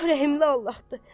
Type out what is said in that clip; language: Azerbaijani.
Allah rəhimli Allahdır.